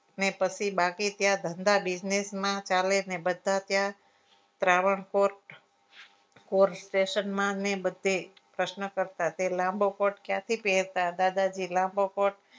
ને પછી બાકી ત્યાં ધંધા business માં ચાલે બધા ત્યાં પ્રારણકોટ કોર station માં ને બધે પ્રશ્ન કરતા તે લાંબો કોટ ક્યાંથી પેરતા હતા દાદાજી લાંબો કોટ